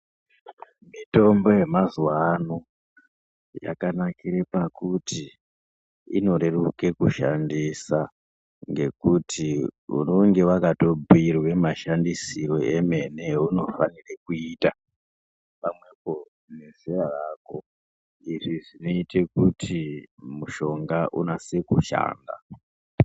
Mitombo yemazuwa ano ,yakanakire pakuti inoreruke kushandisa ngekuti unenge wakatobhuyirwe mashandisiro emene eunofanire kuita pamwepo nezera rako izvi zvinoite kuti mushonga unase kushanda.